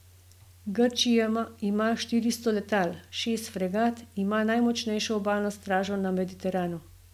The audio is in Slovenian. Grčija ima štiristo letal, šest fregat, ima najmočnejšo obalno stražo na Mediteranu.